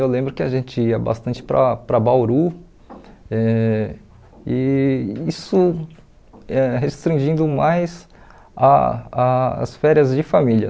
Eu lembro que a gente ia bastante para para Bauru, eh e isso eh restringindo mais ah ah as férias de família.